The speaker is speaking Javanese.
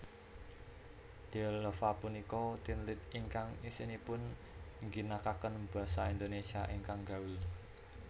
Dealova punika teenlit ingkang isinipun ngginakaken Basa Indonesia ingkang gaul